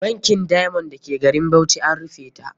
Bankin Diamond da ke garin Bauchi a rufe ta ke.